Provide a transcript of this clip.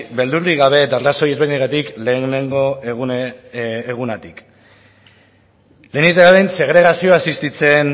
beldurrik gabe eta arrazoi desberdinengatik lehenengo egunetik lehenik eta behin segregazioa existitzen